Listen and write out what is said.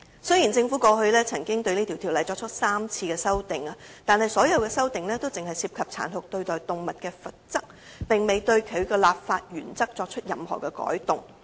雖然政府過去曾就該條例作出3次修訂，但所有修訂僅涉及殘酷對待動物的罰則，卻並未對其立法原則作任何改動。